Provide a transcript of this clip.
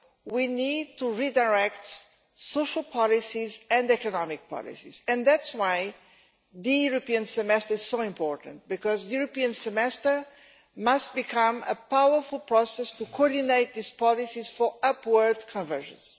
We need to redirect social policies and economic policies, and that is why the European Semester is so important, because the European Semester must become a powerful process to coordinate these policies for upward convergence.